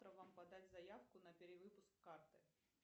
подать заявку на перевыпуск карты